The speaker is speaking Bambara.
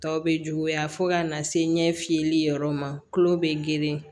Tɔw bɛ juguya fo ka na se ɲɛ fiyɛli yɔrɔ ma tulo bɛ girin